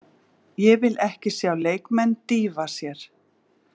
Ég vil ekki sjá leikmenn dýfa sér.